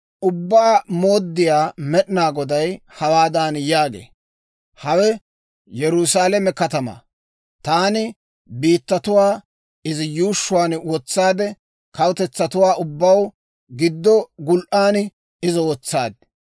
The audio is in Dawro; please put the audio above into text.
Ubbaa Mooddiyaa Med'inaa Goday hawaadan yaagee; «Hawe Yerusaalame katamaa; taani biittatuwaa izi yuushshuwaan wotsaade, kawutetsatuwaa ubbaw giddo gul"an izo wotsaad.